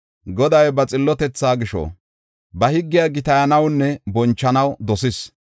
Goday ba xillotetha gisho, ba higgiya gitayanawunne bonchanaw dosis.